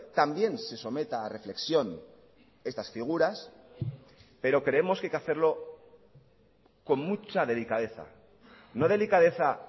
también se someta a reflexión estas figuras pero creemos que hay que hacerlo con mucha delicadeza no delicadeza